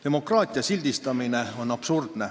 Demokraatia sildistamine on absurdne.